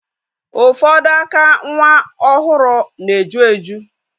Ufodu aka nwa ohuru na-eju eju.